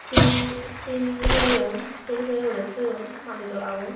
sil sil horeyon sil hure hure toyon madi dolagun.